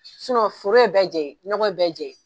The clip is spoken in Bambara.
Sunɔ foro ye bɛ jɛn ɲe, nɔgɔ ye bɛɛ jɛn yen.